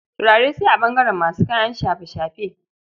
Turare sai a ɓangaren masu kayan shafe-shafe.